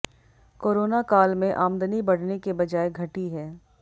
corona काल में आमदनी बढ़ने के बजाय घटी है